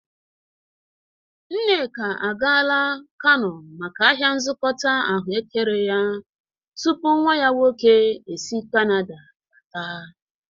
Nneka agala Kano maka ahia nzọkọta ahụekere ya tupu nwa ya nwoke esi kanada bata.